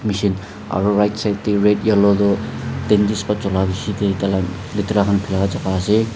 machine aro right side dae red yellow tho dentist ba chula biji dae tai la litera bila jaka ase.